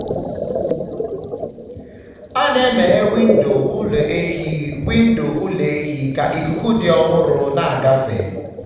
a na-emeghe windo ụlọ ehi windo ụlọ ehi ka ikuku dị ọhụrụ na-agafe.